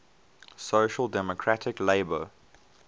social democratic labour